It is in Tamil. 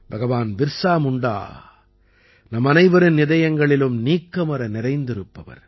பகவான் பிர்ஸா முண்டா நம்மனைவரின் இதயங்களிலும் நீக்கமற நிறைந்திருப்பவர்